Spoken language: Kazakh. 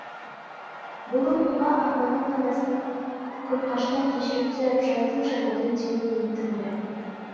бұл оқиға арманның анасының күлқаштан кешірім сұрап жаздым жаңылдым деуімен тынды